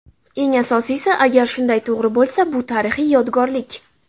Eng asosiysi, agar shunday to‘g‘ri bo‘lsa, bu tarixiy yodgorlik!